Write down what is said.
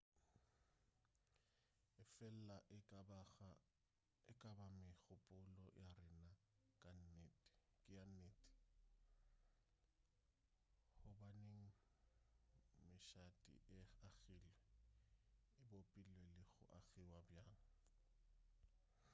efela e ka ba megopolo ya rena ke ya nnete gobaneng mešate e agilwe e bopilwe le go agiwa bjang